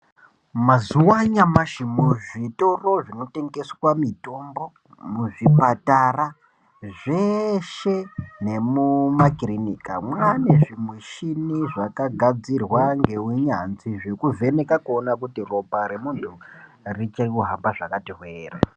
Mazuva anhamashi muzvitoro zvinotengesa mitombo muzvipatara zveshe nemumakirinika mane zvimushina zvakagadzirwa neunyanzvi zvekuvheneka kuona kuti ropa remunhu riri kihamba zvakati hwee here.